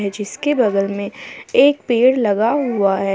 जिसके बगल में एक पेड़ लगा हुआ है।